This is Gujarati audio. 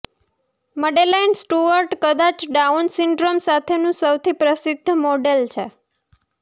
મડેલાઇન સ્ટુઅર્ટ કદાચ ડાઉન સિન્ડ્રોમ સાથેનું સૌથી પ્રસિદ્ધ મોડેલ છે